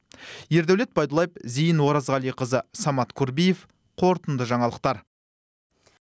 ердәулет байдуллаев зейін оразғалиқызы самат курбиев қорытынды жаңалықтар